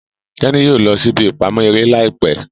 Teni yóò lọ sí ìbí ìpamọ́ eré láìpé.